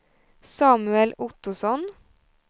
Samuel Ottosson